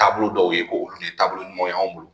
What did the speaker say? Taabolo dɔw ye ko olu ye taabolo ɲuman ye anw bolo